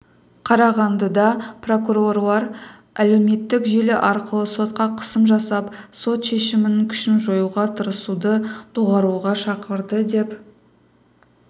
қарағандыда прокурорлар әлеуметтік желі арқылы сотқа қысым жасап сот шешімінің күшін жоюға тырысуды доғаруға шақырды деп